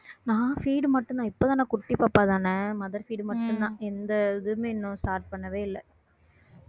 நான் feed மட்டும்தான் இப்பத்தானே குட்டி பாப்பாதானே mother feed மட்டும்தான் எந்த இதுவுமே இன்னும் start பண்ணவே இல்ல